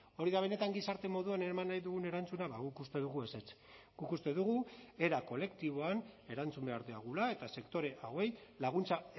hori da benetan gizarte moduan eraman nahi dugun erantzuna ba guk uste dugu ezetz guk uste dugu era kolektiboan erantzun behar diogula eta sektore hauei laguntza